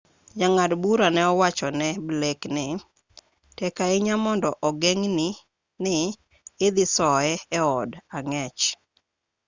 jang'ad bura ne owacho ne blake ni tek ahinya mondo ogeng' ni ne idhi soye eod ang'ech